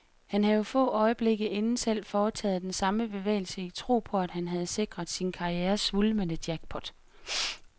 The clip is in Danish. Han havde få øjeblikke inden selv foretaget den samme bevægelse i tro på, at han havde sikret sig karrierens svulmende jackpot.